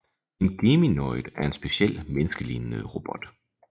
En Geminoid er en speciel menneskelignende robot